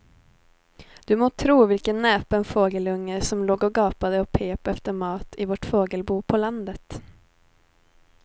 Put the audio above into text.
Du må tro vilken näpen fågelunge som låg och gapade och pep efter mat i vårt fågelbo på landet.